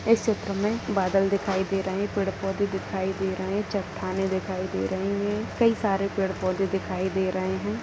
इस चित्र में बादल दिखाई दे रहे हैं पेड़-पौधे दिखाई दे रहे हैं चट्टानें दिखाई दे रहे हैं कई सारे पेड़-पौधे दिखाई दे रहे हैं।